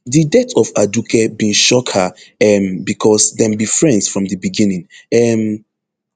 di death of aduke bin shock her um becos dem be friends from di beginning um